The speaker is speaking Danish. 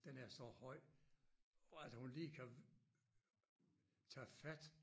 Den er så høj at hun lige kan tage fat